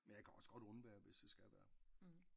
Men jeg kan også godt undvære hvis det skal være